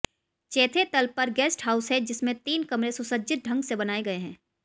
चैथे तल पर guest house है जिसमें तीन कमरे सुसज्जित ढंग से बनाए गए हैं